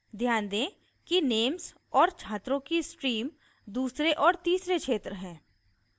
ध्यान दें कि names और छात्रों की stream दूसरे और तीसरे क्षेत्र हैं